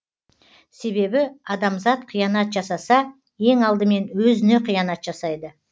себебі адамзат қиянат жасаса ең алдымен өзіне қиянат жасайды